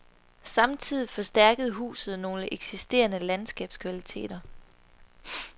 Samtidig forstærkede huset nogle eksisterende landskabskvaliteter.